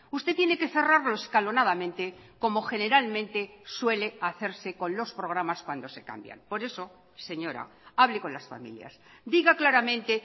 usted tiene que cerrarlo escalonadamente como generalmente suele hacerse con los programas cuando se cambian por eso señora hable con las familias diga claramente